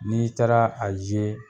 N'i taara a zee